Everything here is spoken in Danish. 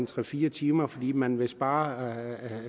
tre fire timer fordi man vil spare